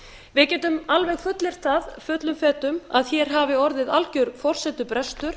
við getum alveg fullyrt það fullum fetum að hér hafi orðið algjör forsendubrestur